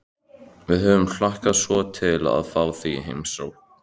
Við höfum hlakkað svo til að fá þig í heimsókn